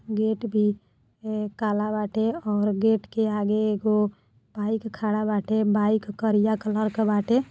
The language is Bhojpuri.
गेट भी ए काला बाटे और गेट के आगे एगो बाइक खड़ा बाटे। बाइक करिया कलर क बाटे।